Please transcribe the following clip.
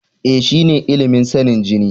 E, shine ilimin sanin jini.